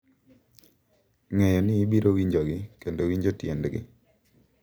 Ng’eyo ni ibiro winjogi kendo winjo tiendgi.